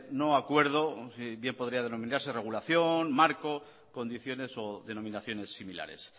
no acuerdo bien podría denominarse regulación marco condiciones o denominaciones similares